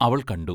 അവൾ കണ്ടു.